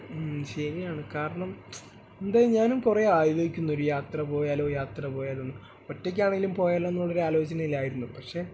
മ്മ് ശരിയാണ് കാരണം എന്തെ ഞാനും കുറെയായി ആലോചിക്കുന്നു ഒരു യാത്ര പോയാലോ യാത്ര പോയാലോന്ന് ഒറ്റയ്ക്കാണെങ്കിലും പോയാലോ എന്ന് ആലോചനയിലായിരുന്നു പക്ഷേ